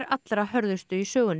hörðustu í sögunni